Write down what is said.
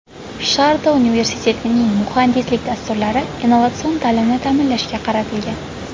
Sharda universitetining muhandislik dasturlari innovatsion ta’limni ta’minlashga qaratilgan.